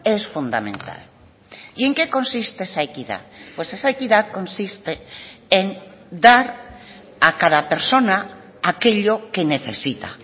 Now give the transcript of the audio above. es fundamental y en qué consiste esa equidad pues esa equidad consiste en dar a cada persona aquello que necesita